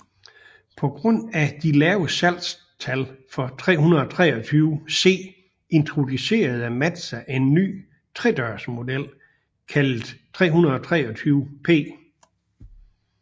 På grund af de lave salgstal for 323C introducerede Mazda en ny tredørsmodel kaldet 323P